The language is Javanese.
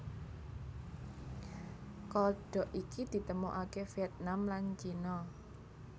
Kodhog iki ditemokake Vietnam lan Cina